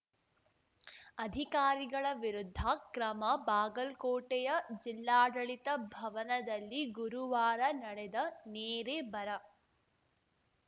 ಅಧಿಕಾರಿಗಳ ವಿರುದ್ಧ ಕ್ರಮ ಬಾಗಲ್ ಕೋಟೆಯ ಜಿಲ್ಲಾಡಳಿತ ಭವನದಲ್ಲಿ ಗುರುವಾರ ನಡೆದ ನೆರೆ ಬರ